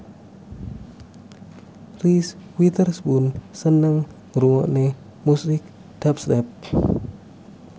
Reese Witherspoon seneng ngrungokne musik dubstep